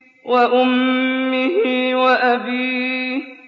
وَأُمِّهِ وَأَبِيهِ